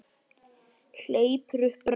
Hleypur upp brekku.